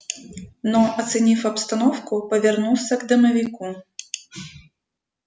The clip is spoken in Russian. но оценив обстановку повернулся к домовику